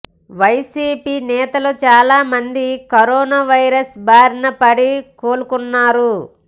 YCP నేతలు చాలా మంది కరోనా వైరస్ భారిన పడి కోలుకున్నారు